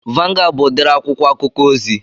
Vangụad bụ udiri akwụkwọ akụkọ ozi